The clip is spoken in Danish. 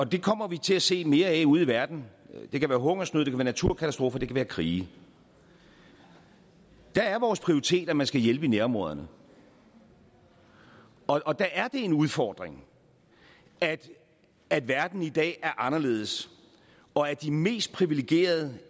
det kommer vi til at se mere af ude i verden det kan være hungersnød det kan være naturkatastrofer det kan være krige der er vores prioritet at man skal hjælpe i nærområderne og der er det en udfordring at at verden i dag er anderledes og at de mest priviligerede